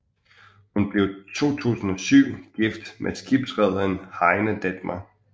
Hun blev 2007 gift med skibsrederen Heiner Dettmer